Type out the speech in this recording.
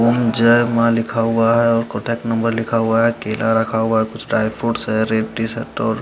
ॐ जय माँ लिखा हुआ है और कॉन्टेक्ट नंबर लिखा हुआ है केला रखा हुआ है कुच्छ ड्राय फ्रूट्स है और--